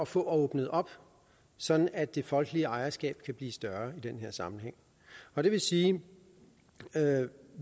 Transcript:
få åbnet op sådan at det folkelige ejerskab kan blive større i den her sammenhæng og det vil sige at